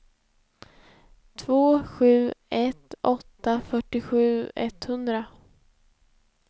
två sju ett åtta fyrtiosju etthundra